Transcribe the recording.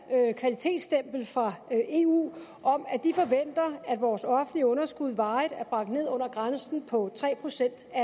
kvalitetsstempel fra eu om at de forventer at vores offentlige underskud varigt er bragt ned under grænsen på tre procent af